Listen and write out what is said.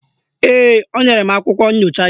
Ee, o nyere m akwụkwọ nchọcha ya